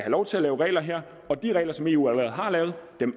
lov til at lave regler her og de regler som eu allerede har lavet